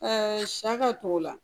sɛ ka t'o la